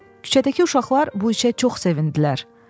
Küçədəki uşaqlar bu işə çox sevindilər.